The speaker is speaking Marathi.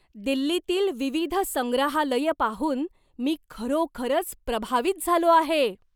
दिल्लीतील विविध संग्रहालयं पाहून मी खरोखरच प्रभावित झालो आहे.